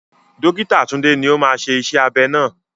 Dókítà Tunde ni ó máa ṣe iṣẹ́ abẹ náà.